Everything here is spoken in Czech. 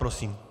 Prosím.